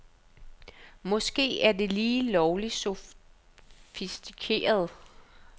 Måske er det lige lovligt sofistikeret.